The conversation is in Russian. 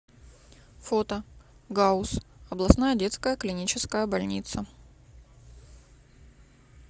фото гауз областная детская клиническая больница